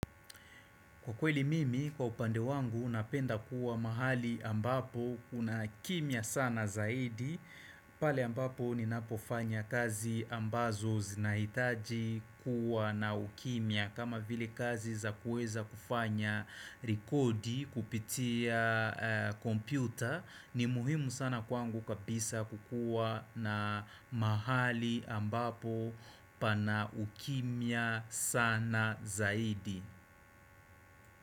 Kwa kweli mimi kwa upande wangu napenda kuwa mahali ambapo kuna kimya sana zaidi. Pale ambapo ninapofanya kazi ambazo zinahitaji kuwa na ukimya kama vile kazi za kuweza kufanya rikodi kupitia kompyuta ni muhimu sana kwangu kabisa kukuwa na mahali ambapo pana ukimya sana zaidi.